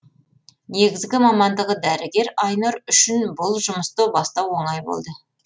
негізгі мамандығы дәрігер айнұр үшін бұл жұмысты бастау оңай болды